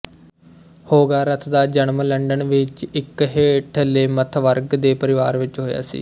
Hogarth ਦਾ ਜਨਮ London ਵਿੱਚ ਇੱਕ ਹੇਠਲੇਮੱਧਵਰਗ ਦੇ ਪਰਿਵਾਰ ਵਿੱਚ ਹੋਇਆ ਸੀ